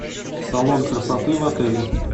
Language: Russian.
салон красоты в отеле